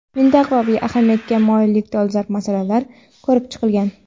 mintaqaviy ahamiyatga molik dolzarb masalalar ko‘rib chiqilgan.